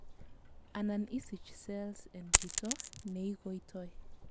anan isich cells en jito neigoitoi